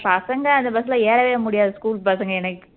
பசங்க அந்த bus ல ஏறவே முடியாது school பசங்க எனக்கு